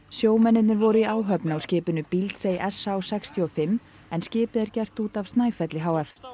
sjómennirnir voru í áhöfn á skipinu s h sextíu og fimm en skipið er gert út af Snæfelli h f